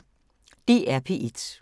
DR P1